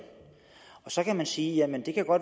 så kan man sige at